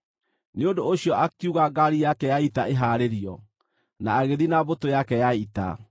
Nĩ ũndũ ũcio akiuga ngaari yake ya ita ĩhaarĩrio, na agĩthiĩ na mbũtũ yake ya ita.